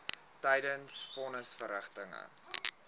tydens von nisverrigtinge